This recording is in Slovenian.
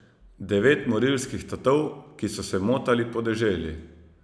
Devet morilskih tatov, ki so se motali po deželi.